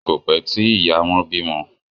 Kọ pẹ tí ìyá wón bímọ.